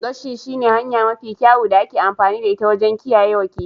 Gashi shi ne hanya mafi kyawu da ake amfani da ita wajen kiyayewa kifin.